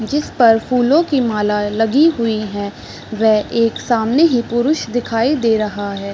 जिस पर फूलो की मालाए लगी हुई है व एक सामने ही पुरुष दिखाई दे रहा है।